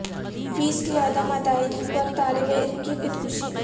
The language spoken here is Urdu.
فیس کی عدم ادائیگی پر طالب علم کی خودکشی